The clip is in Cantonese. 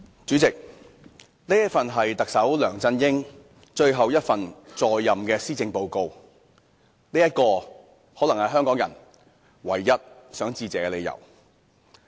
主席，這份是特首梁振英在任最後一份施政報告，這可能是香港人唯一想致謝的理由。